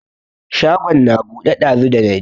Shagon na buɗe ɗazu dana je.